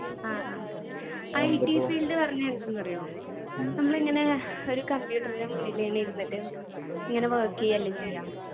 ആ ആ IT field പറഞ്ഞാ എന്താന്നറിയോ നമ്മളിങ്ങനെ ഒരു computer ൻ്റെ മുന്നില് ഇങ്ങനെ ഇരുന്നിട്ട് ഇങ്ങനെ work ചെയ്യല്ലേ ചെയ്യാ